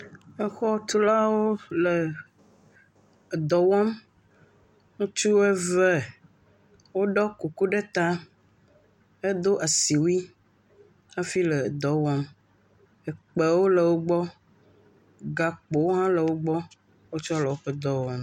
Exɔtulawo le edɔ wɔm. Ŋutsu eve woɖɔ kuku ɖe taa hedo asiwui hafi le dɔ wɔm. ekpewo le wogbɔ. Gakpowo hã le wogbɔ wotsɔ le woƒe dɔ wɔm.